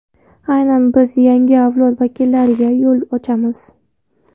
Aynan biz yangi avlod vakillariga yo‘l ochamiz.